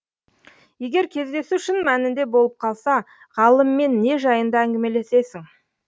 егер кездесу шын мәнінде болып қалса ғалыммен не жайында әңгімелесесің